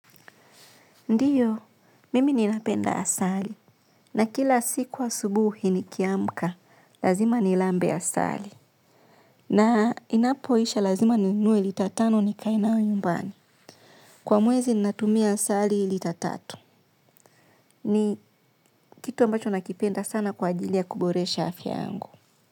Ndiyo, mimi ninapenda asali. Na kila siku asubuhi niki amka, lazima nilambe asali. Na inapoisha lazima ninunue lita tano nikae nayo nyumbani. Kwa mwezi ninatumia asali lita tatu. Ni kitu ambacho nakipenda sana kwa ajilia kuboresha afya yangu.